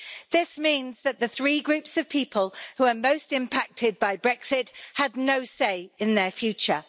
This means that the three groups of people who are most impacted by Brexit had no say in their future.